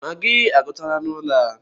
Magịị agwuchala n'ụlọ a.